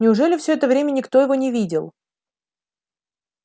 неужели всё это время никто его не видел